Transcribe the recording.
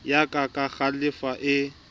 ya ka ka kglofalo e